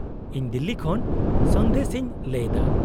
-ᱤᱧ ᱫᱤᱞᱞᱤ ᱠᱷᱚᱱ ᱥᱚᱱᱫᱮᱥ ᱤᱧ ᱞᱟᱹᱭᱮᱫᱟ ᱾